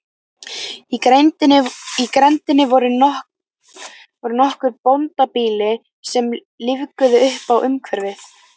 Í grenndinni voru nokkur bóndabýli sem lífguðu uppá umhverfið.